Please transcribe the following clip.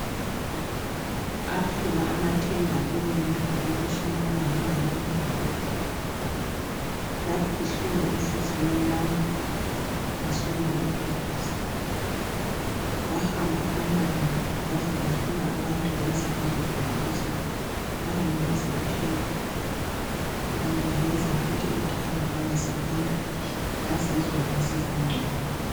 Aphela amathemba kimi ngemva kokushonelwa ngumama ongizalayo. Yababuhlungu inhliziyo yami. Ngaswela umduduzi. Kwahamba amalanga kwaze kwafika abantu bazangiduduza. Banginikeza ithemba. Banginikeza uthando njalo, bangisekela. Ngezwa ngisbangcono.